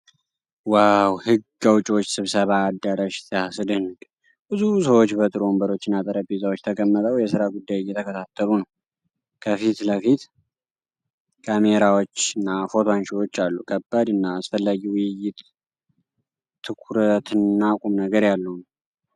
ዋው! የሕግ አውጪዎች ስብሰባ አዳራሽ ሲያስደንቅ! ብዙ ሰዎች በጥሩ ወንበሮችና ጠረጴዛዎች ተቀምጠው የሥራ ጉዳይ እየተከታተሉ ነው። ከፊት ለፊት ካሜራዎች እና ፎቶ አንሺዎች አሉ። ከባድ እና አስፈላጊ ውይይት። ትኩረትና ቁም ነገር ያለው!።